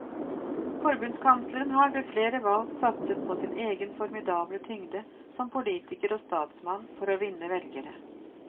Forbundskansleren har ved flere valg satset på sin egen formidable tyngde som politiker og statsmann for å vinne velgere.